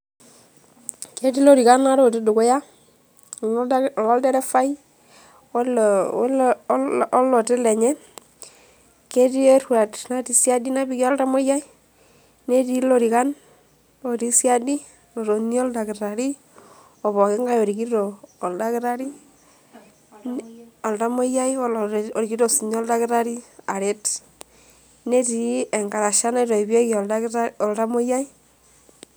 Ketii lorikan ware otii dukuya, oloderefai, oloti lenye, ketii erruat natii siadi napiki oltamoyiai, netii lorikan otii siadi otonie oldakitari opoking'ae orikito oldakitari.